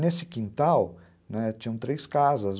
Nesse quintal, né, tinham três casas.